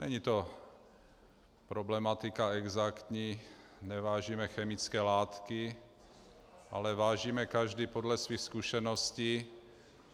Není to problematika exaktní, nevážíme chemické látky, ale vážíme každý podle svých zkušeností.